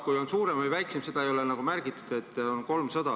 Kui on suurem või väiksem, seda ei ole nagu märgitud, on 300.